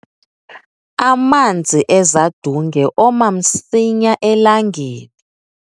amanzi ezadunge oma msinya elangeni